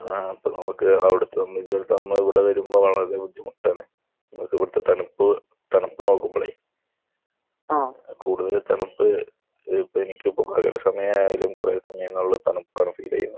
ആഹ്. അപ്പോൾ ഇവിടെ വരുമ്പോൾ വളരെ ബുദ്ധിമുട്ടാണ്. ഇവിടുത്തെ തണുപ്പ് തണുപ്പ് നോക്കുമ്പോഴേ കൂടുതൽ തണുപ്പ് സമയം ആയാലും കുറെ സമയങ്ങളിൽ തണുപ്പാണ് ഫീൽ ചെയ്യുക